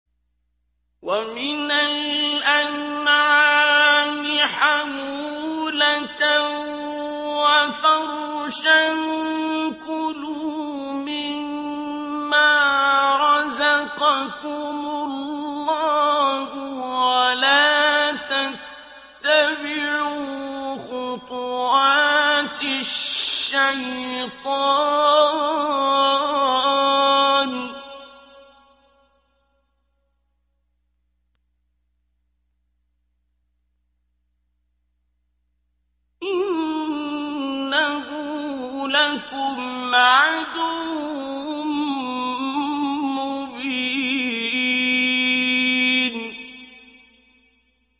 وَمِنَ الْأَنْعَامِ حَمُولَةً وَفَرْشًا ۚ كُلُوا مِمَّا رَزَقَكُمُ اللَّهُ وَلَا تَتَّبِعُوا خُطُوَاتِ الشَّيْطَانِ ۚ إِنَّهُ لَكُمْ عَدُوٌّ مُّبِينٌ